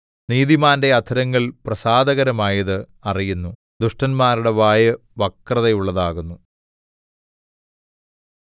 നീതിമാന്റെ അധരങ്ങൾ പ്രസാദകരമായത് അറിയുന്നു ദുഷ്ടന്മാരുടെ വായ് വക്രതയുള്ളതാകുന്നു